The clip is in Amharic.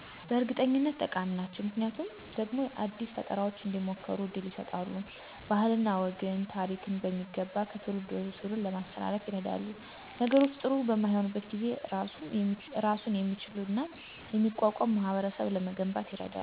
በእርግጠኝነት ጠቃሚ ናቸው። ምክንያቱ ደግሞ አዳዲስ ፈጠራዎች እንዲሞከሩ እድል ይሰጣሉ፣ ባህልንና ወግን፣ ታሪክን በሚገባ ከትውልድ ወደ ትውልድ ለማስተላለፍ ይረዳሉ። ነገሮች ጥሪ በማይሆኑበት ጊዜ እራሱን የሚችልና የሚቋቋም ማህበረሰብ ለመገንባት ይረዳሉ።